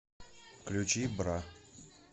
включи бра